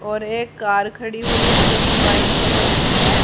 और एक कार खड़ी हुई है जो की वाइट कलर की है।